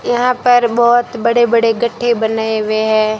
यहां पर बहोत बड़े बड़े गड्ढे बनाए हुए हैं।